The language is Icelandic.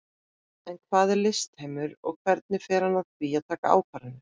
En hvað er listheimur og hvernig fer hann að því að taka ákvarðanir?